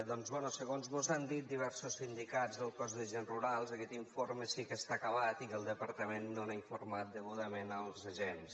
doncs bé segons mos han dit diversos sindicats del cos d’agents rurals aquest informe sí que està acabat i que el departament no n’ha informat degudament els agents